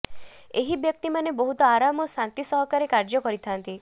ଏହି ବ୍ୟକ୍ତିମାନେ ବହୁତ ଆରାମ ଓ ଶାନ୍ତି ସହକାରେ କାର୍ଯ୍ୟ କରିଥାଆନ୍ତି